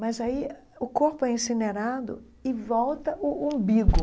mas aí o corpo é incinerado e volta o umbigo.